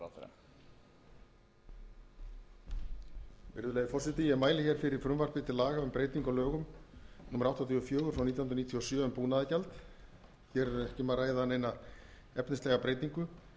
virðulegi forseti ég mæli fyrir frumvarpi til laga um breytingu á lögum númer áttatíu og fjögur nítján hundruð níutíu og sjö um búnaðargjald hér er ekki um að ræða neina efnislega breytingu